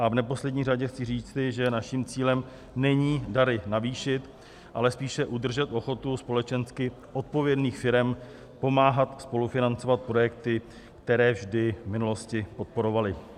A v neposlední řadě chci říci, že naším cílem není dary navýšit, ale spíše udržet ochotu společensky odpovědných firem pomáhat spolufinancovat projekty, které vždy v minulosti podporovaly.